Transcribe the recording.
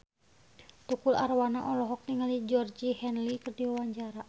Tukul Arwana olohok ningali Georgie Henley keur diwawancara